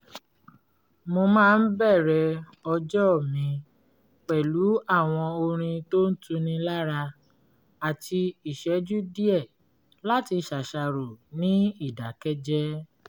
mo máa ń bẹ̀rẹ̀ ọjọ́ mi pẹ̀lú àwọn orin tó ń tuni lára àti ìṣẹ́jú díẹ̀ láti ṣàṣàrò ní ìdákẹ́jẹ́